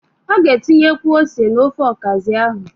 Ị ga-etinyekwu ose n'ofe ọkazị ahụ.